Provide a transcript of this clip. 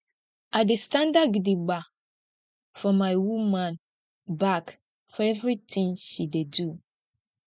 i dey standa gidigba for my woman back for everytin she dey do